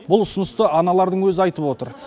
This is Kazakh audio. бұл ұсынысты аналардың өзі айтып отыр